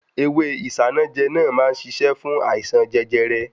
Ewé Isanaje náà má ń ṣiṣẹ́ fún àìsàn jẹjẹrẹ.